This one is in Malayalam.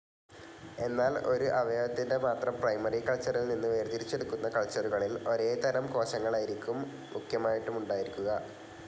എന്നാൽ ഒരു അവയവത്തിന്റെ മാത്രം പ്രൈമറി കൾച്ചറിൽനിന്ന് വേർതിരിച്ചെടുക്കുന്ന കൾച്ചറുകളിൽ ഒരേതരം കോശങ്ങളായിരിക്കും മുഖ്യമായിട്ടുണ്ടായിരിക്കുക.